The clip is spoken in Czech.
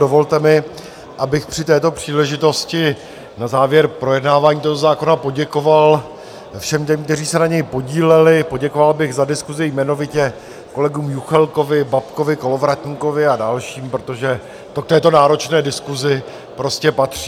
Dovolte mi, abych při této příležitosti na závěr projednávání tohoto zákona poděkoval všem těm, kteří se na něm podíleli, poděkoval bych za diskusi, jmenovitě kolegům Juchelkovi, Babkovi, Kolovratníkovi a dalším, protože to k této náročné diskusi prostě patří.